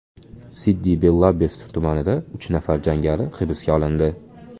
Siddi Belabbes tumanida uch nafar jangari hibsga olindi.